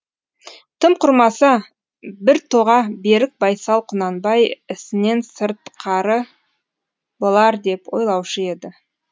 тым құрмаса бір тоға берік байсал құнанбай ісінен сыртқары болар деп ойлаушы еді